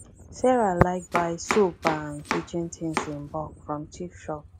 sarah like buy soap and kitchen things in bulk from cheap shop